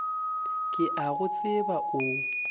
ke a go tseba o